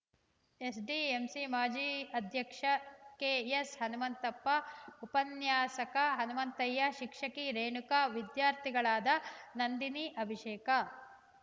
SDMC ಮಾಜಿ ಅಧ್ಯಕ್ಷ K N Hanumanthappa ಉಪನ್ಯಾಸಕ ಹನುಮಂತಯ್ಯ ಶಿಕ್ಷಕಿ ರೇಣುಕಾ ವಿದ್ಯಾರ್ಥಿಗಳಾದ ನಂದಿನಿ ಅಭಿಷೇಕ